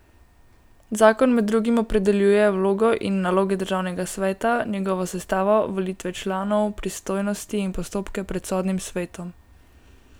Zakon med drugim opredeljuje vlogo in naloge državnega sveta, njegovo sestavo, volitve članov, pristojnosti in postopke pred Sodnim svetom.